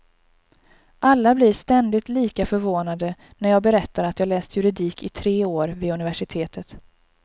Alla blir ständigt lika förvånade när jag berättar att jag läst juridik i tre år vid universitetet.